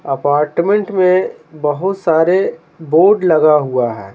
Apartment में बहुत सारे बोर्ड लगा हुआ है।